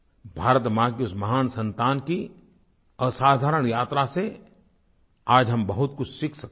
भारत माँ की उस महान संतान की असाधारण यात्रा से आज हम बहुत कुछ सीख सकते हैं